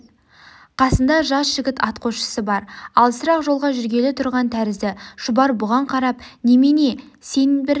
қасында жас жігіт атқосшысы бар алысырақ жолға жүргелі тұрған тәрізді шұбар бұған қарап немене сен бір